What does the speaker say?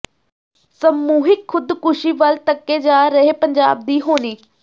ਸਮੂਹਿਕ ਖੁਦਕੁਸ਼ੀ ਵੱਲ ਧੱਕੇ ਜਾ ਰਹੇ ਪੰਜਾਬ ਦੀ ਹੋਣੀ